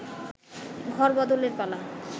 ঘর বদলের পালা